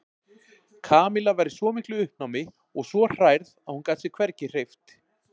Kamilla var í svo miklu uppnámi og svo hrærð að hún gat sig hvergi hreyft.